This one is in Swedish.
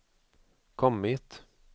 kommit